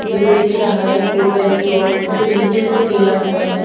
View दिख रहा है ऊपर की और जो निचे से लिया हुआ है। --